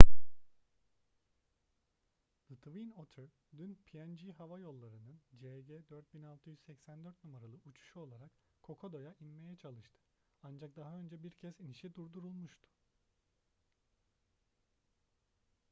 the twin otter dün png havayolları'nın cg4684 numaralı uçuşu olarak kokoda'ya inmeye çalıştı ancak daha önce bir kez inişi durdurulmuştu